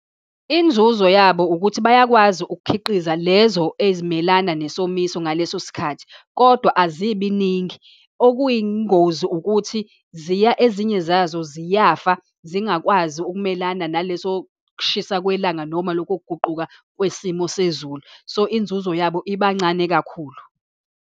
Inzuzo yabo ukuthi bayakwazi ukukhiqiza lezo ezimelana nesomiso ngaleso sikhathi, kodwa azibiningi. Okuyingozi ukuthi ezinye zazo ziyafa, zingakwazi ukumelana naleso kushisa kwelanga, noma loko kuguquka kwesimo sezulu. So, inzuzo yabo iba ncane kakhulu.